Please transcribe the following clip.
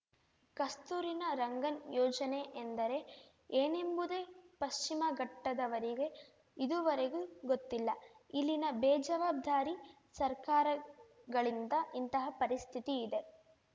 ಕಸ್ತೂರಿನ ರಂಗನ್‌ ಯೋಜನೆ ಎಂದರೆ ಏನೆಂಬುದೇ ಪಶ್ಚಿಮಘಟ್ಟದವರಿಗೆ ಇದೂವರೆಗೂ ಗೊತ್ತಿಲ್ಲ ಇಲ್ಲಿನ ಬೇಜವಾಬ್ದಾರಿ ಸರ್ಕಾರಗಳಿಂದ ಇಂತಹ ಪರಿಸ್ಥಿತಿ ಇದೆ